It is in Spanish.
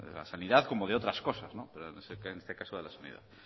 la sanidad como de otras cosas en este caso de la sanidad